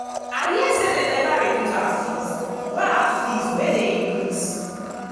i hear say dey never reduce our fees wey our fees wey dey increase.